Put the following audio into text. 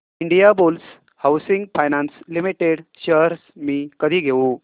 Indiabulls housing finance limited shares मी कधी घेऊ